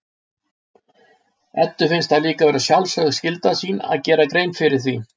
Eddu finnst það líka vera sjálfsögð skylda sín að gera grein fyrir því.